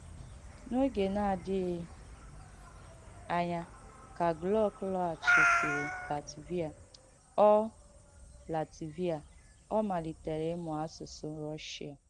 N’ògē na-àdìghī ànyà ka Glück lọ̀ghàchìsìrī Làtvià, ọ Làtvià, ọ màlìtèrē ìmụ̀ àsùsụ̀ Rùshià.